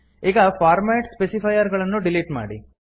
ಈಗ format specifier ಗಳನ್ನು delete ಮಾಡಿ